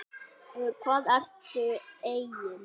Um hvað ertu eigin